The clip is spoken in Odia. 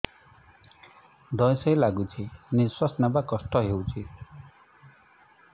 ଧଇଁ ସଇଁ ଲାଗୁଛି ନିଃଶ୍ୱାସ ନବା କଷ୍ଟ ହଉଚି